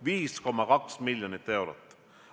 5,2 miljonit eurot!